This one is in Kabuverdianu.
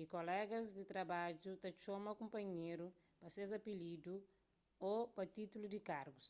y kolegas di trabadju ta txoma kunpanheru pa ses apilidu ô pa títullu di kargus